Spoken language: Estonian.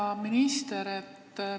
Hea minister!